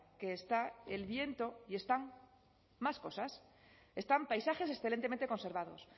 que está el viento y están más cosas están paisajes excelentemente conservados